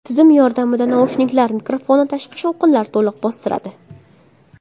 Tizim yordamida naushniklar mikrofoni tashqi shovqinlari to‘liq bostiradi.